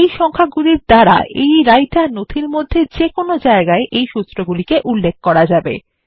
এই সংখ্যাগুলির দ্বারা এই রাইটার নথির মধ্যে যে কোন জায়গায় ওই সুত্রগুলিকে উল্লেখ করা যাবে